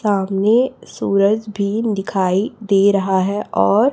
सामने सूरज भी दिखाई दे रहा है और--